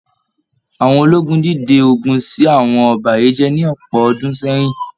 Àwọn ológun dìde ogun ṣi àwọn òbàyéjẹ́ ní ọpọ ọdún sẹyìn